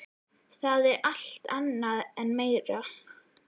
Það er alt annað og meira.